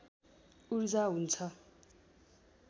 ऊर्जा हुन्छ